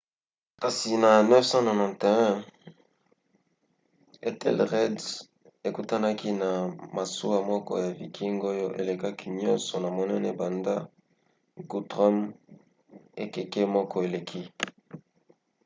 kasi na 991 ethelred ekutanaki na masuwa moko ya viking oyo elekaki nyonso na monene banda guthrum ekeke moko eleki